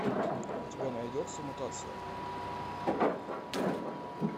у тебя найдется мутация